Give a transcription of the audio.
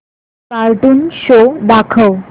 cartoon show दाखव